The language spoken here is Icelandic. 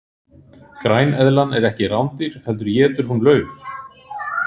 græneðlan er ekki rándýr heldur étur hún lauf